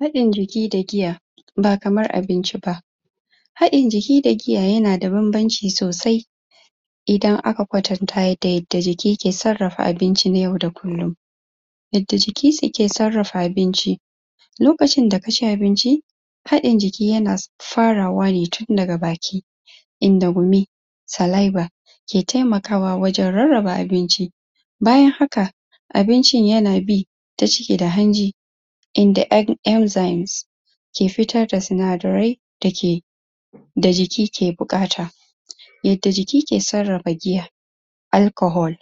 Haɗin jiki da giya ba kamar abinci ba haɗin jiki da giya yana da banbanci sosai idan aka kwatanta da yadda jiki ke sarrafa abinci na yau da kullin yadda jikin se ke sarrafa abinci lokacin da kaci abinci haɗin jiiki sa na farawa ne tun daga baki inda dumi saliva ke taimakawa wajan rarraba abinci bayan haka abincin yana bi ta ciki da hanji inda yan enzemes ke fitar da sinadarai da ke da jiki ke buƙata yadda jiki ke sarrafa giya Alchohol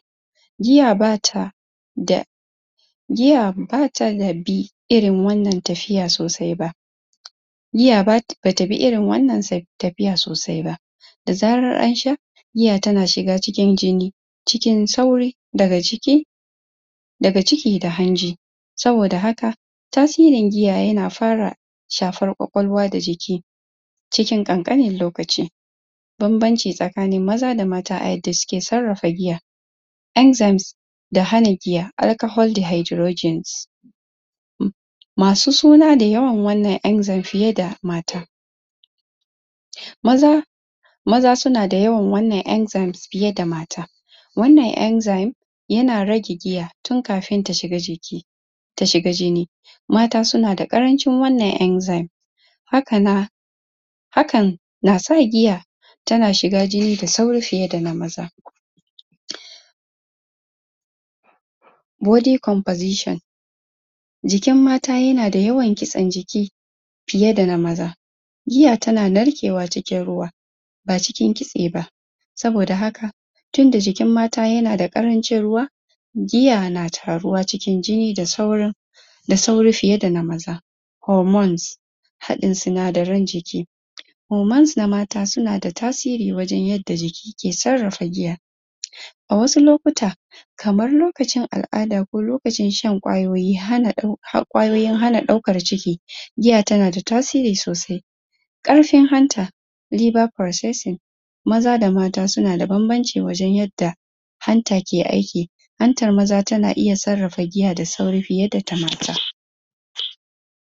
giya bata da giya bata bi irin wannan tafiya sosai ba giya bata bi irin wannan si tafiya sosai ba da zarar ansha giya tana shiga cikin jini cikin sauri daga ciki daga ciki da hanji saboda haka tasirin giya yana fara shafar kwakwalwa da jiki cikin ƙanƙanin lokaci banbanci tsakanin maza da mata a yadda suke sarrafa giya enzemes da hana giya alchohol dihydrogens masu suna da yawan wannan enzemes fiye da mata Maza Maza suna da yawan wannan enzemes fiye fa mata wannan enzemes yana rage giya tun kafin ta shiga jiki ta shiga jini mata suna da ƙarancin wannan enzemes[] haka na hakan na sa giya tana shiga jini da sauri fiye dana maza body composition jikin mata yana da yawan kitsen jiki fiye dana maza jiya tana narkewa cikin ruwa ba cikin kitse ba saboda haka tunda jikin mata yana dana ƙarancin ruwa giya na taruwa cikin jini da sauri da sauri fiye da maza hormones haɗin sinadaran jiki hormones na mata suna da tasiri wajan yadda jiki sarrafa giya a wasu lokuta kamar lokacin al'ada ko lokacin shan kwayoyin hana um kwayoyin hana ɗaukar jiki, giya tana da tasiri sosai ƙarfin hanta liver progess maza da mata suna da banbanci wajan yadda hanta ke aiki hantar maza tana iya sarrafa giya da sauri fiye da ta mata